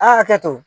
A' ka hakɛ to